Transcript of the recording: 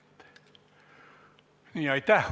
Aitäh!